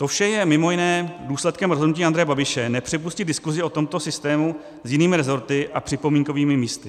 To vše je mimo jiné důsledkem rozhodnutí Andreje Babiše nepřipustit diskusi o tomto systému s jinými rezorty a připomínkovými místy.